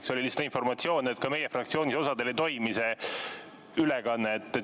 See oli lihtsalt informatsioon, et ka meie fraktsioonis see ülekanne oli häritud.